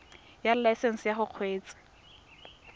ya laesesnse ya go kgweetsa